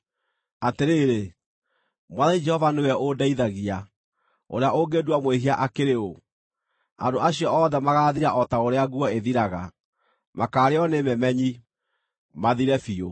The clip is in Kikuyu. Atĩrĩrĩ, Mwathani Jehova nĩwe ũndeithagia. Ũrĩa ũngĩndua mwĩhia akĩrĩ ũũ? Andũ acio othe magaathira o ta ũrĩa nguo ĩthiraga; makaarĩĩo nĩ memenyi, mathire biũ.